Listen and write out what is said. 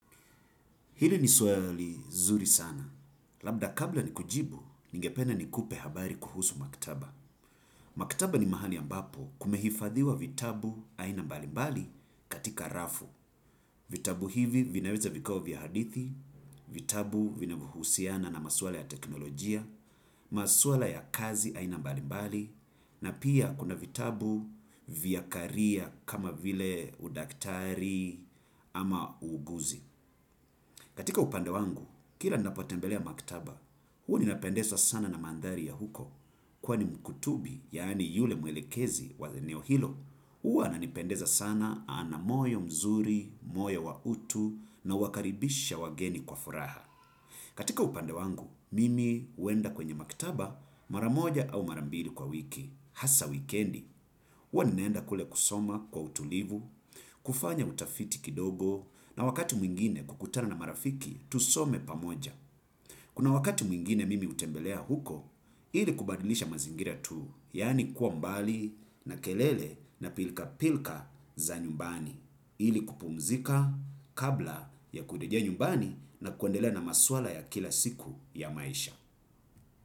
Hili ni swali zuri sana. Labda kabla ni kujibu, ningependa nikupe habari kuhusu maktaba. Maktaba ni mahali ambapo kumehifadhiwa vitabu aina mbalimbali katika rafu. Vitabu hivi vinaweza vikawa vya hadithi, vitabu vinavuhusiana na maswala ya teknolojia, maswala ya kazi aina mbalimbali, na pia kuna vitabu vya career kama vile udaktari ama uuguzi. Katika upande wangu, kila napotembelea maktaba, hua ninapendesa sana na mandhari ya huko. Kwa ni muktubi, yaani yule muelekezi wa eneo hilo, hua ananipendeza sana amoyo mzuri, moyo wa utu, na wakaribisha wageni kwa furaha. Katika upande wangu, mimi uenda kwenye maktaba mara moja au mara mbili kwa wiki, hasa wikendi. Ua ninaenda kule kusoma kwa utulivu, kufanya utafiti kidogo na wakati mwingine kukutana na marafiki tusome pamoja. Kuna wakati mwingine mimi utembelea huko, hili kubadilisha mazingira tu, yani kuwa mbali na kelele na pilka-pilka za nyumbani. Hili kupumzika kabla ya kudejea nyumbani na kwendelea na maswala ya kila siku ya maisha.